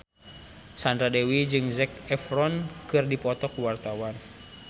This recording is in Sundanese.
Sandra Dewi jeung Zac Efron keur dipoto ku wartawan